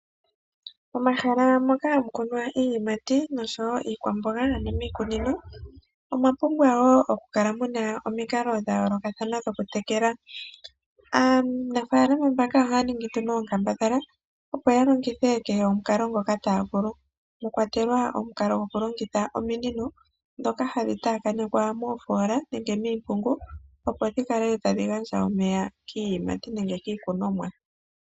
Omahala moka hamu kunwa iiyimati nosho wo iikwamboga ano miikunino omwa pumbwa wo oku kala muna omikalo dha yoolokathana dhokutekela. Aanafaalama mbaka ohaya ningi nduno oonkambadhala opo ya longithe kehe omukalo ngoka taya vulu, mwa kwatelwa mwa lwatelwa omukalo gwokulongitha ominino ndhoka hadhi taakanekwa moofoola nenge miimpungu opo dhi kale tadhi gandja omeya kiikunomwa.